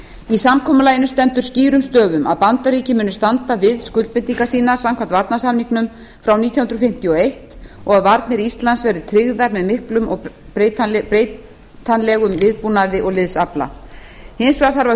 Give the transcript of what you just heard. í samkomulaginu stendur skýrum stöfum að bandaríkin muni standa við skuldbindingar sínar samkvæmt varnarsamningnum frá nítján hundruð fimmtíu og eins og að varnir íslands verði tryggðar með miklum og breytanlegum viðbúnaði og liðsafla hins vegar þarf að